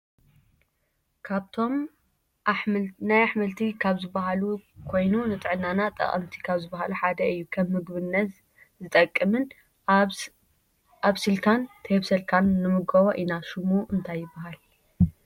ካብቶም ናይ ኣሕምልቲ ካብ ዝብሃሉ ኮይኑ ንጥዕናና ጠቀምቲ ካብ ዝብሃሉ ሓደ እዩ። ከም ምግብነት ዝጠቅምን ኣብስልካን ተይኣብሰልካን ንምገቦ ኢና። ሽሙ እንታይ ይብሃል?